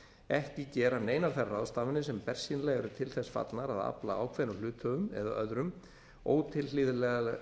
ekki gera neinar þær ráðstafanir sem bersýnilega eru til þess fallnar að afla ákveðnum hluthöfum eða öðrum ótilhlýðilegra